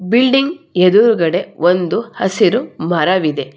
Building ಎದುರುಗಡೆ ಒಂದು ಹಸಿರು ಮರವಿದೆ.